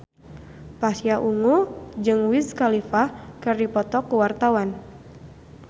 Pasha Ungu jeung Wiz Khalifa keur dipoto ku wartawan